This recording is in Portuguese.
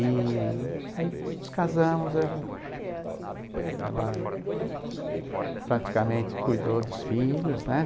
E aí nos casamos, ela ela praticamente cuidou dos filhos, né?